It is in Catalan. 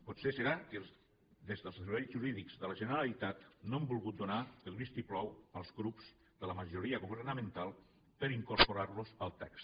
potser serà que des dels serveis jurídics de la generalitat no han volgut donar el vistiplau als grups de la majoria governamental per incorporar los al text